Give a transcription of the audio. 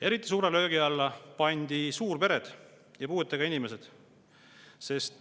Eriti suure löögi alla pandi suurpered ja puuetega inimesed.